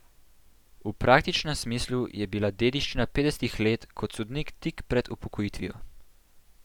V praktičnem smislu je bila dediščina petdesetih let kot sodnik tik pred upokojitvijo.